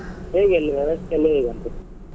ಹೇಗೆ ಅಲ್ಲಿ ವ್ಯವಸ್ಥೆ ಎಲ್ಲ ಹೇಗೆ ಉಂಟು?